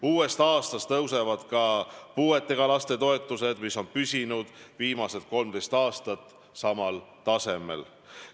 Uuest aastast tõusevad ka puuetega laste toetused, mis on püsinud viimased 13 aastat samal tasemel.